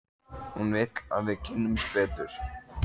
Hún vill að við kynnumst betur.